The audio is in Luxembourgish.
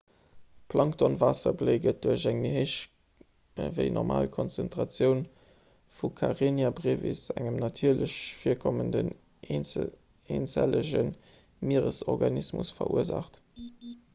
d'planktonwaasserbléi gëtt duerch eng méi héich ewéi normal konzentratioun vu karenia brevis engem natierlech virkommenden eenzellege mieresorganismus verursaacht